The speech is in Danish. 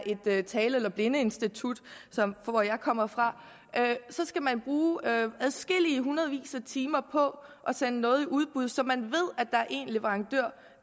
et tale eller blindeinstitut som hvor jeg kommer fra og så skal man bruge hundredvis af timer på at sende noget i udbud som man ved at der er én leverandør